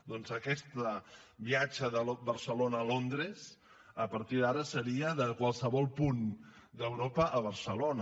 doncs aquest viatge de barcelona a londres a partir d’ara seria de qualsevol punt d’europa a barcelona